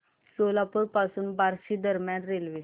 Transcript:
सोलापूर पासून बार्शी दरम्यान रेल्वे